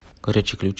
горячий ключ